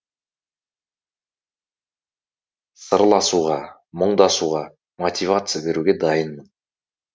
сырласуға мұңдасуға мотивация беруге дайынмын